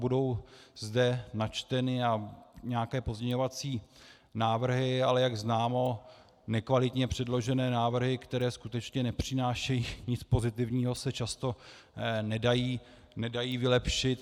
Budou zde načteny nějaké pozměňovací návrhy, ale jak známo, nekvalitně předložené návrhy, které skutečně nepřinášejí nic pozitivního, se často nedají vylepšit.